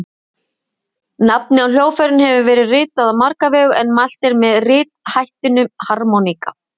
Nafnið á hljóðfærinu hefur verið ritað á marga vegu en mælt er með rithættinum harmóníka.